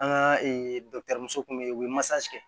An ka dɔkitɛri muso kun bɛ yen u bɛ masakɛ